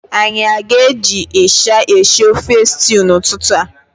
Anyị aga eji ịsha eshi ofe stew n'ụtụtụ a?